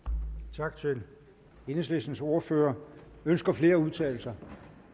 tak til enhedslistens ordfører ønsker flere at udtale sig